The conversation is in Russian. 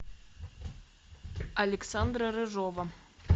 александра рыжова